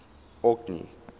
orkney